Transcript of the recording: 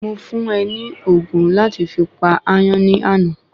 Mo fún é ni ogun láti fi pa àyàn ni àná